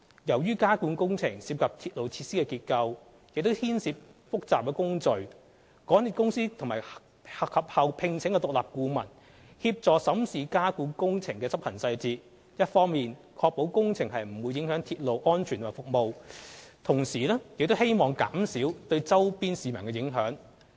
由於加固工程涉及鐵路設施的結構，亦牽涉複雜的工序，港鐵公司及後聘請獨立顧問協助審視加固工程的執行細節，一方面確保工程不會影響鐵路安全及服務，同時亦希望減少對周邊市民影響。